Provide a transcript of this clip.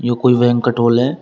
ये कोई banquet hall है है।